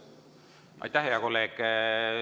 Aitäh, hea kolleeg!